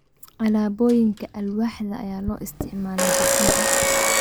Alaabooyinka alwaaxda ayaa loo isticmaalaa dhismaha.